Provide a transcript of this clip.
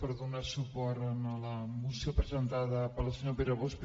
per donar suport a la moció presenta·da pel senyor pere bosch